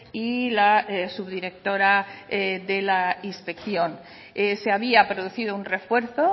y la subdirectora de la inspección se había producido un refuerzo